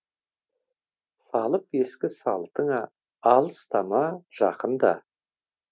салып ескі салтыңа алыстама жақында